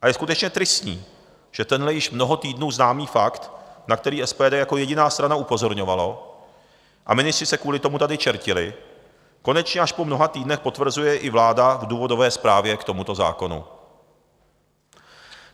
A je skutečně tristní, že tenhle již mnoho týdnů známý fakt, na který SPD jako jediná strana upozorňovalo, a ministři se kvůli tomu tady čertili, konečně až po mnoha týdnech potvrzuje i vláda v důvodové zprávě k tomuto zákonu.